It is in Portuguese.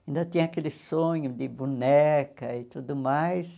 Ainda tinha aquele sonho de boneca e tudo mais,